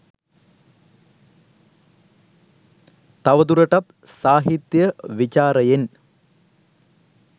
තවදුරටත් සාහිත්‍ය විචාරයෙන්